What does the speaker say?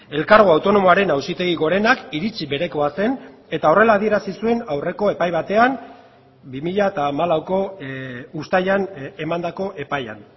elkargo autonomoaren auzitegi gorenak iritzi berekoa zen eta horrela adierazi zuen aurreko epai batean bi mila hamalauko uztailan emandako epaian